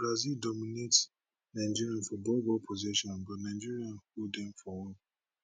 brazil dominate nigeria for ball ball possession but nigeria hold dem for work